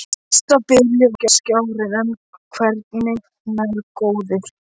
Næsti bíll var skárri en hvergi nærri góður.